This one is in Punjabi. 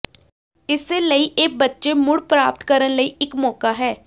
ਇਸੇ ਲਈ ਇਹ ਬੱਚੇ ਮੁੜ ਪ੍ਰਾਪਤ ਕਰਨ ਲਈ ਇੱਕ ਮੌਕਾ ਹੈ